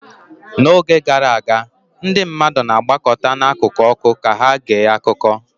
N'oge gara aga, ndị mmadụ na-agbakọta n'akụkụ ọkụ ka ha gee akụkọ